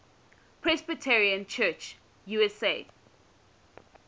presbyterian church usa